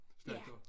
Slagter